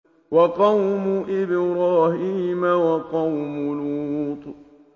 وَقَوْمُ إِبْرَاهِيمَ وَقَوْمُ لُوطٍ